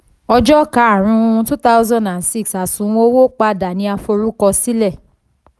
ọjọ́ karùn-ún two thousand and six àsùnwọ̀n owó padà ni a forúkọsílẹ̀.